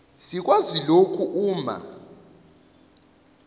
sikwazi lokhu uma